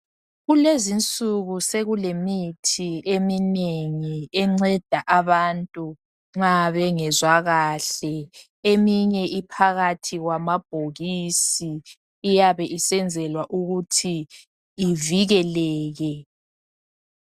Kulezinsuku sekulemithi eminengi enceda abantu nxa bengezwa kahle eminye iphakathi kwamabhokisi iyabe isenzelwa ukuthi ivikeleke.